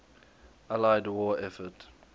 allied war effort